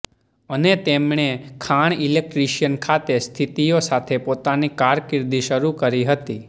અને તેમણે ખાણ ઇલેક્ટ્રિશિયન ખાતે સ્થિતિઓ સાથે પોતાની કારકિર્દી શરૂ કરી હતી